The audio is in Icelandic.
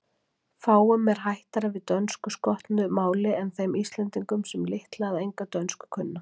Fáum er hættara við dönskuskotnu máli en þeim Íslendingum, sem litla eða enga dönsku kunna.